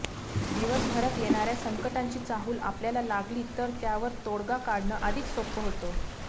दिवसभरात येणाऱ्या संकटांची चाहूल आपल्याला लागली तर त्यावर तोडगा काढणं अधिक सोपं होतं